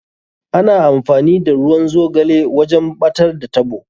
Ana amfani da ruwan zogale wajen ɓatar da taɓo.